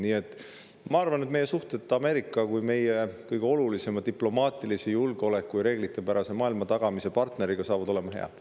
Nii et ma arvan, et meie suhted Ameerikaga kui meie kõige olulisema diplomaatilise, julgeolekut ja reeglitepärast maailma tagava partneriga saavad olema head.